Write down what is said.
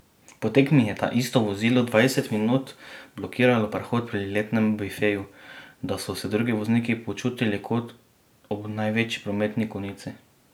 Po tekmi je taisto vozilo dvajset minut blokiralo prehod pri letnem bifeju, da so se drugi vozniki počutili kot ob največji prometni konici.